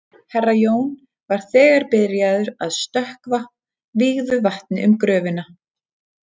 Herra Jón var þegar byrjaður að stökkva vígðu vatni um gröfina.